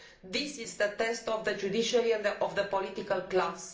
This is the test of the judiciary and of the political class.